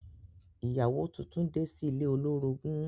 Ìyàwó tuntun de sí ilé olórogún.